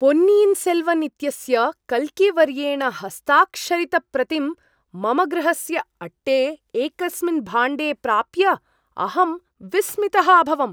पोन्नियिन् सेल्वन् इत्यस्य कल्कीवर्येण हस्ताक्षरितप्रतिं मम गृहस्य अट्टे एकस्मिन् भाण्डे प्राप्य अहं विस्मितः अभवम्।